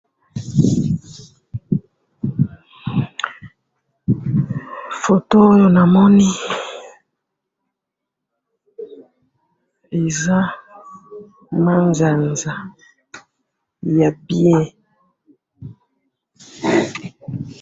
photo oyo namoni eza manzanza ya bien